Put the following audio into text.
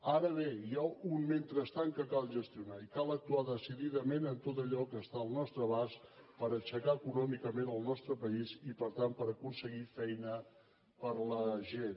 ara bé hi ha un mentrestant que cal gestionar i cal actuar decididament en tot allò que està al nostre abast per aixecar econòmicament el nostre país i per tant per aconseguir feina per a la gent